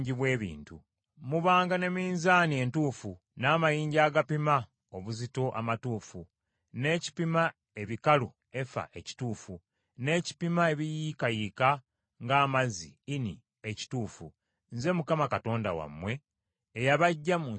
Mubanga ne minzaani entuufu, n’amayinja agapima obuzito amatuufu, n’ekipima ebikalu (efa) ekituufu, n’ekipima ebiyiikayiika ng’amazzi (ini) ekituufu. Nze Mukama Katonda wammwe, eyabaggya mu nsi y’e Misiri.